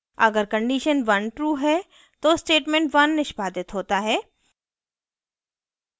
अगर condition 1 true है तो statement1 1 निष्पादित होता है